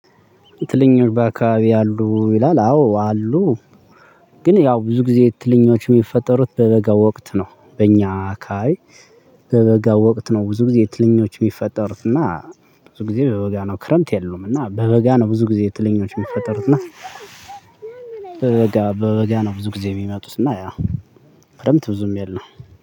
ትንኞች በአካባቢዎ አሉ ይላል? አዎ አሉ። ግን ያው ብዙ ጊዜ ትንኞች የሚፈጠሩት በበጋ ወቅት ነው በእኛ አካባቢ። በበጋ ወቅት ነው ብዙ ጊዜ ትንኞች የሚፈጠሩት እና ብዙ ጊዜ በበጋ ነው ክረምት የሉም። እና በበጋ ነው ብዙ ጊዜ ትንኞች የሚፈጠሩት እና። በበጋ በበጋ ነው ብዙ ጊዜ የሚመጡት እና ያ ክረምት ብዙም የለም